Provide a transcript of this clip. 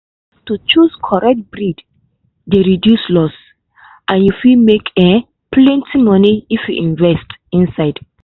to choose correct breed dey reduce loss and you make um plenty money if you put invest inside.